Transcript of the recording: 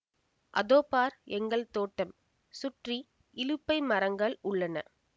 அதோ பார் எங்கள் தோட்டம் சுற்றி இலுப்பை மரங்கள் உள்ளன